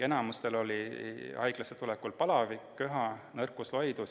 Enamikul oli haiglasse tulekul palavik, köha, nõrkus, loidus.